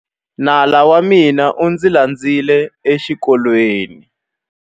Nala wa mina u ndzi landzile exikolweni.